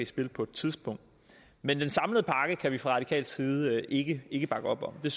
spil på et tidspunkt men den samlede pakke kan vi fra radikal side ikke ikke bakke op om det